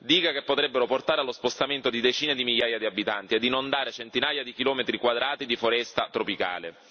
Dighe che potrebbero portare allo spostamento di decine di migliaia di abitanti ed inondare centinaia di chilometri quadrati di foresta tropicale.